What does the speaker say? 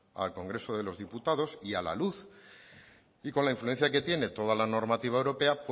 al congreso de los diputados y a la luz y con la influencia que tiene toda la normativa europea